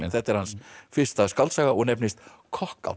en þetta er hans fyrsta skáldsaga og nefnist